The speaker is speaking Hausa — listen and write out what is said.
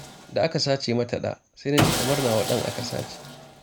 Da aka sace mata ɗa, sai na ji kamar nawa ɗan aka sace